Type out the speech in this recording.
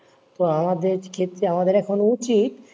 তো আমাদের ক্ষেত্রে আমাদের এখনো উচিত,